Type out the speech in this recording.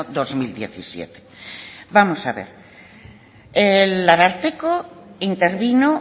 dos mil diecisiete vamos a ver el ararteko intervino